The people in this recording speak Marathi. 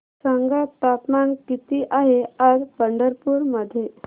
सांगा तापमान किती आहे आज पंढरपूर मध्ये